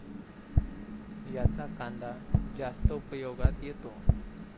याचा कांदा जास्त उपयोगात येतो.